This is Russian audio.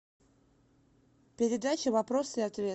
передача вопрос и ответ